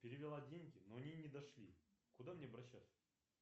перевела деньги но они не дошли куда мне обращаться